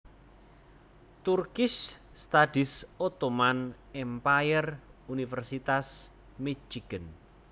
Turkish Studies Ottoman Empire Universitas Michigan